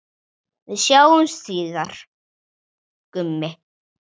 Við sjáumst síðar, Gummi.